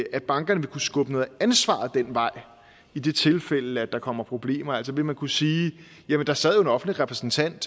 at bankerne vil kunne skubbe noget ansvar den vej i det tilfælde at der kommer problemer altså vil man kunne sige jamen der sad jo en offentlig repræsentant